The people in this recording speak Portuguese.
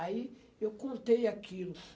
Aí eu contei aquilo.